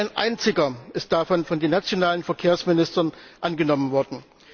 Nicht ein einziger davon ist von den nationalen Verkehrsministern angenommen worden.